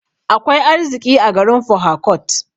Akwai arziƙi a garin porharcourt.